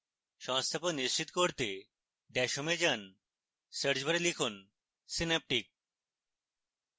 সংস্থাপন নিশ্চিত করতে dash home এ যান search bar লিখুন synaptic